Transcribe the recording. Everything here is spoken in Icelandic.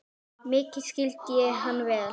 Mikið skildi ég hann vel.